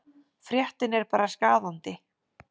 Fréttin er bara skaðandi.